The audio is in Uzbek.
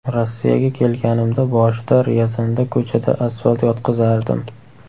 Rossiyaga kelganimda boshida Ryazanda ko‘chada asfalt yotqizardim.